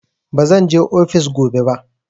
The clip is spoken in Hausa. Bazan je ofis gobe ba.